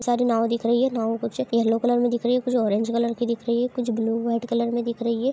सारी नाव दिख रही है नाव कुछ येलो कलर में दिख रही है कुछ ऑरेंज कलर की दिख रही है कुछ ब्लू वाइट कलर में दिख रही है।